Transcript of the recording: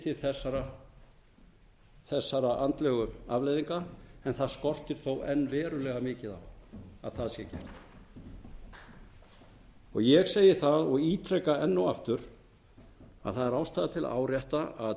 til þessara andlegu afleiðinga en það skortir þó enn verulega mikið á að það sé gert ég segi það og ítreka enn og aftur að það er ástæða til að árétta að